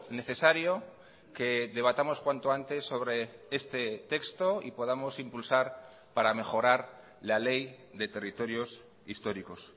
necesario que debatamos cuanto antes sobre este texto y podamos impulsar para mejorar la ley de territorios históricos